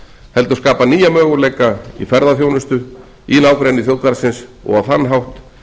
heldur skapa nýja möguleika í ferðaþjónustu í nágrenni þjóðgarðsins og á þann hátt